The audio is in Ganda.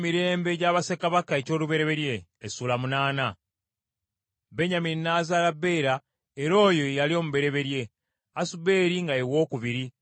Benyamini n’azaala Bera, era oyo ye yali omubereberye, Asuberi nga ye wookubiri, Akala nga ye wookusatu;